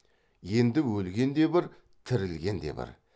енді өлген де бір тірілген де бір